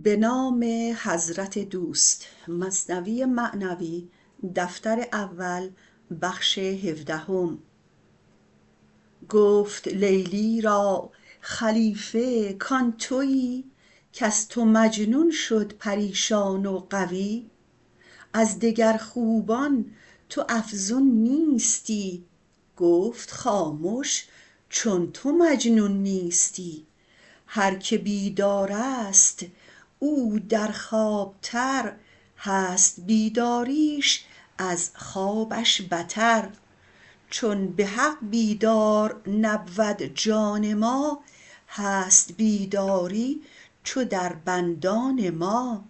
گفت لیلی را خلیفه کان توی کز تو مجنون شد پریشان و غوی از دگر خوبان تو افزون نیستی گفت خامش چون تو مجنون نیستی هر که بیدارست او در خواب تر هست بیداریش از خوابش بتر چون بحق بیدار نبود جان ما هست بیداری چو در بندان ما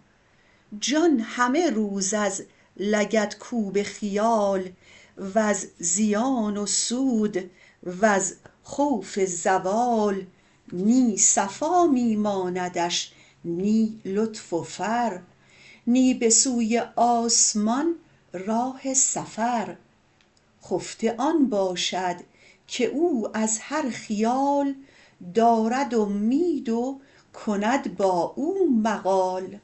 جان همه روز از لگدکوب خیال وز زیان و سود وز خوف زوال نی صفا می ماندش نی لطف و فر نی به سوی آسمان راه سفر خفته آن باشد که او از هر خیال دارد اومید و کند با او مقال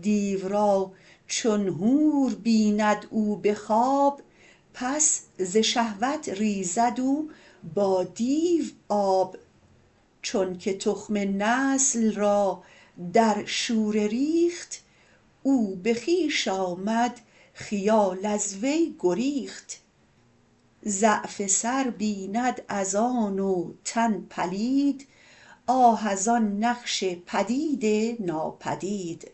دیو را چون حور بیند او به خواب پس ز شهوت ریزد او با دیو آب چونک تخم نسل را در شوره ریخت او به خویش آمد خیال از وی گریخت ضعف سر بیند از آن و تن پلید آه از آن نقش پدید ناپدید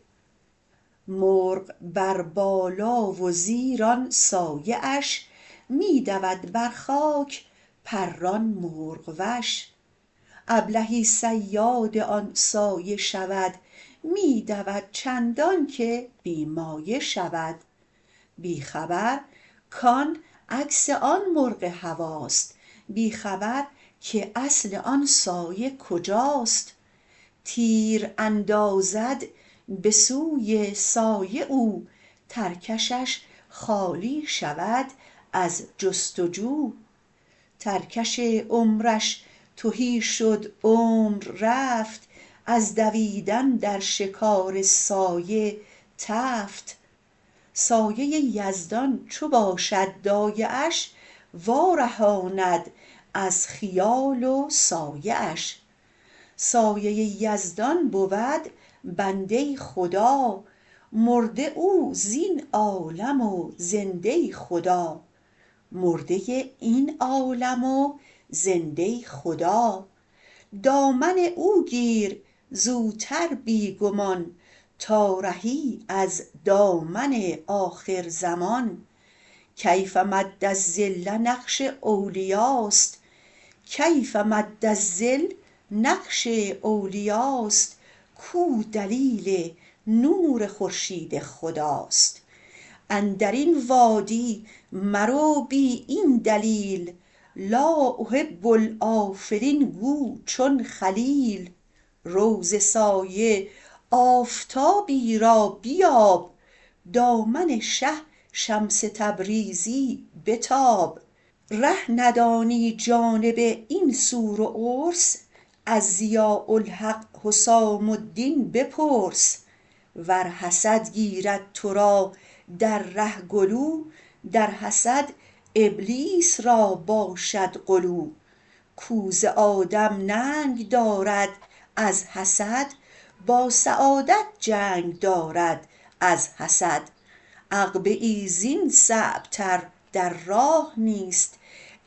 مرغ بر بالا و زیر آن سایه اش می دود بر خاک پران مرغ وش ابلهی صیاد آن سایه شود می دود چندانکه بی مایه شود بی خبر کان عکس آن مرغ هواست بی خبر که اصل آن سایه کجاست تیر اندازد به سوی سایه او ترکشش خالی شود از جست و جو ترکش عمرش تهی شد عمر رفت از دویدن در شکار سایه تفت سایه یزدان چو باشد دایه اش وا رهاند از خیال و سایه اش سایه یزدان بود بنده ی خدا مرده او زین عالم و زنده ی خدا دامن او گیر زوتر بی گمان تا رهی در دامن آخر زمان کيۡف مد ٱلظل نقش اولیاست کو دلیل نور خورشید خداست اندرین وادی مرو بی این دلیل لآ أحب ٱلۡأٓفلين گو چون خلیل رو ز سایه آفتابی را بیاب دامن شه شمس تبریزی بتاب ره ندانی جانب این سور و عرس از ضیاء الحق حسام الدین بپرس ور حسد گیرد ترا در ره گلو در حسد ابلیس را باشد غلو کو ز آدم ننگ دارد از حسد با سعادت جنگ دارد از حسد عقبه ای زین صعب تر در راه نیست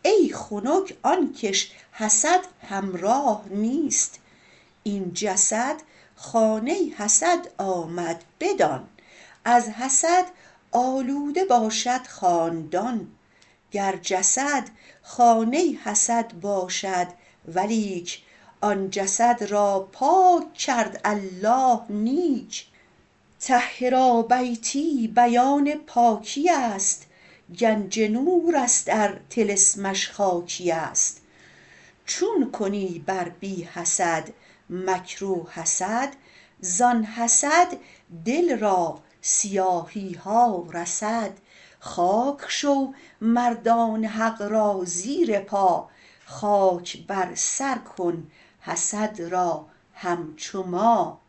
ای خنک آنکش حسد همراه نیست این جسد خانه ی حسد آمد بدان از حسد آلوده باشد خاندان گر جسد خانه ی حسد باشد ولیک آن جسد را پاک کرد الله نیک طهرا بیتی بیان پاکی است گنج نورست ار طلسمش خاکی است چون کنی بر بی حسد مکر و حسد زان حسد دل را سیاهی ها رسد خاک شو مردان حق را زیر پا خاک بر سر کن حسد را همچو ما